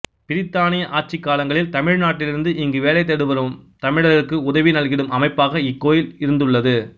பிரித்தானிய ஆட்சிக் காலங்களில் தமிழ் நாட்டிலிருந்து இங்கு வேலை தேடி வரும் தமிழர்க்கு உதவி நல்கிடும் அமைப்பாக இக்கோயில் இருந்துள்ளது